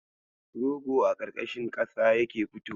Rogo a ƙarƙashin ƙasa yake fitowa.